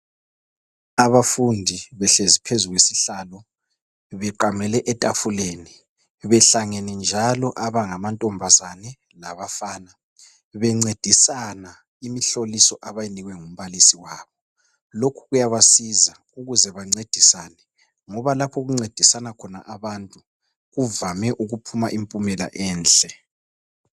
Abafundi behlezi phezu kwesihlalo beqamele etafuleni behlangene njalo abangamantombazane labafana bencedisana imihloliso abayinikwe ngumbalisi wabo lokhu kuyabasiza ukuze bancedisane ngoba lapho okuncedisana khona abantu kuvame ukuphuma impumela enhle